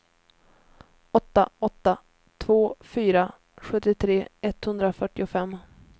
åtta åtta två fyra sjuttiotre etthundrafyrtiofem